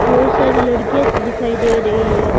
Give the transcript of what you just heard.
बहुत सारी लड़कियाँ सी दिखाई दे री है।